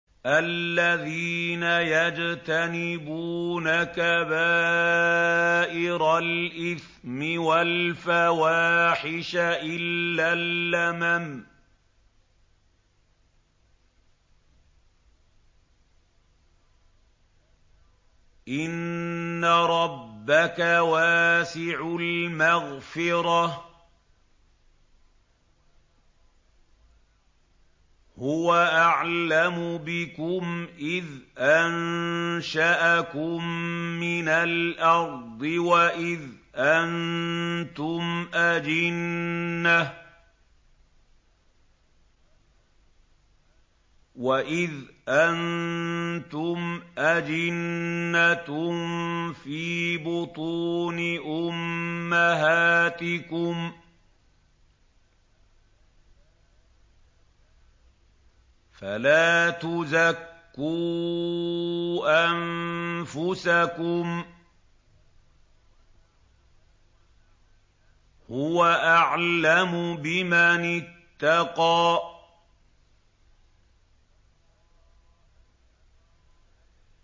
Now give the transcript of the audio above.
الَّذِينَ يَجْتَنِبُونَ كَبَائِرَ الْإِثْمِ وَالْفَوَاحِشَ إِلَّا اللَّمَمَ ۚ إِنَّ رَبَّكَ وَاسِعُ الْمَغْفِرَةِ ۚ هُوَ أَعْلَمُ بِكُمْ إِذْ أَنشَأَكُم مِّنَ الْأَرْضِ وَإِذْ أَنتُمْ أَجِنَّةٌ فِي بُطُونِ أُمَّهَاتِكُمْ ۖ فَلَا تُزَكُّوا أَنفُسَكُمْ ۖ هُوَ أَعْلَمُ بِمَنِ اتَّقَىٰ